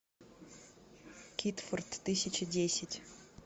китфорт тысяча десять